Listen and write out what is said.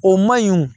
O ma ɲi